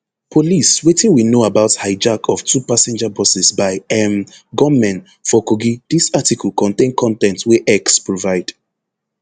police wetin we know about hijack of two passenger buses by um gunmen for kogi dis article contain con ten t wey x provide